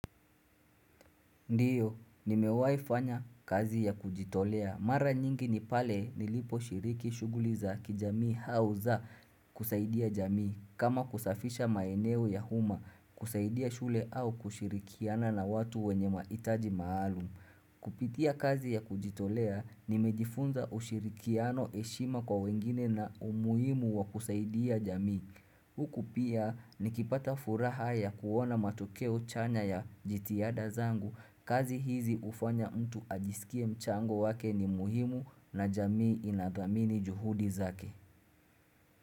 Ndiyo, nimewai fanya kazi ya kujitolea. Mara nyingi ni pale nilipo shiriki shuguli za kijamii hau za kusaidia jamii. Kama kusafisha maeneo ya huma kusaidia shule au kushirikiana na watu wenye maitaji maalumu. Kupitia kazi ya kujitolea nimejifunza ushirikiano eshima kwa wengine na umuhimu wa kusaidia jamii Huku pia nikipata furaha ya kuona matokeo chanya ya jitiada zangu kazi hizi ufanya mtu ajisikie mchango wake ni muhimu na jamii inathamini juhudi zake.